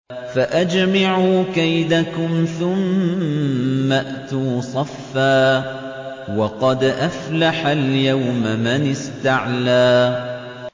فَأَجْمِعُوا كَيْدَكُمْ ثُمَّ ائْتُوا صَفًّا ۚ وَقَدْ أَفْلَحَ الْيَوْمَ مَنِ اسْتَعْلَىٰ